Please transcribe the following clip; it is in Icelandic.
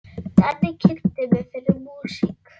Denni kynnti mig fyrir músík.